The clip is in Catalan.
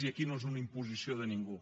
i aquí no és una imposició de ningú